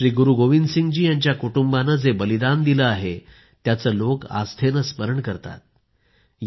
श्री गुरु गोविंदसिंग जी यांच्या कुटुंबाने जे बलिदान दिले आहे त्याचे लोक आस्थेने स्मरण करतात